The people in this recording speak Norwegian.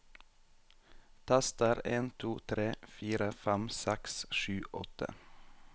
Tester en to tre fire fem seks sju åtte